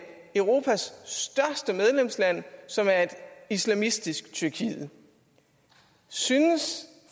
europas største medlemsland som er et islamistisk tyrkiet synes